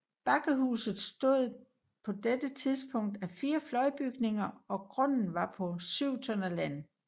Bakkehuset bestod på dette tidspunkt af fire fløjbygninger og grunden var på 7 tønder land